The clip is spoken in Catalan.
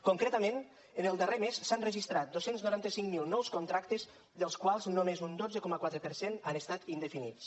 concretament en el darrer mes s’han registrat dos cents i noranta cinc mil nous contractes dels quals només un dotze coma quatre per cent han estat indefinits